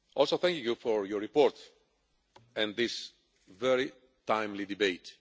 Thank you for your report and this very timely debate.